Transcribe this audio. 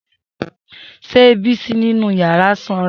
Se Bisi ninu yara sanra?